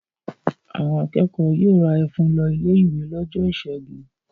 Àwọn akẹ́kọ̀ọ́ yóò ra ẹ̀fún lọ ilé-ìwé lọ́jọ́ ìṣẹ́gun.